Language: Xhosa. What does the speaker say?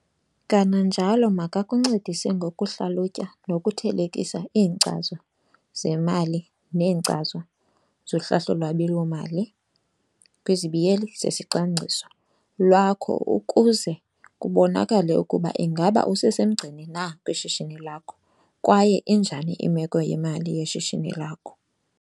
Kananjalo makakuncedise ngokuhlalutya nokuthelekisa iinkcazo zemali neenkcazo zohlahlo lwabiwo-mali, zesicwangciso, lwakho ukuze kubonakale ukuba ingaba usesemgceni na kwishishini lakho kwaye injani imeko yemali yeshishini lakho.